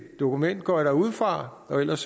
dokument går jeg da ud fra ellers